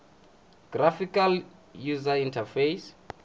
graphical user interface